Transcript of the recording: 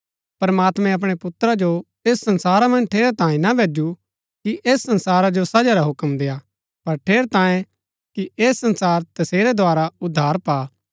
प्रमात्मैं अपणै पुत्रा जो ऐस संसारा मन्ज ठेरै तांयें ना भैजू कि ऐस संसारा जो सजा रा हुक्म देआ पर ठेरै तांयें कि ऐह संसार तसेरै द्धारा उद्धार पा